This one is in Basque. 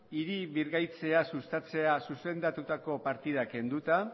hiri birgaitzea sustatzera zuzendutako partidak kenduta